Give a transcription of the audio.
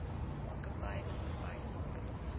maatskappy maatskappy sonder